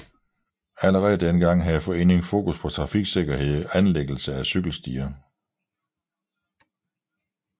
Allerede dengang havde foreningen fokus på trafiksikkerhed og anlæggelse af cykelstier